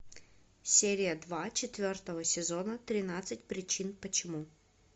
серия два четвертого сезона тринадцать причин почему